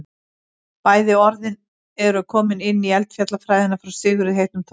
bæði orðin eru komin inn í eldfjallafræðina frá sigurði heitnum þórarinssyni